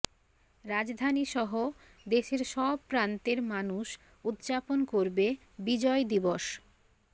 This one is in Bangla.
রাজধানীসহ দেশের সব প্রান্তের মানুষ উদযাপন করবে বিজয় দিবস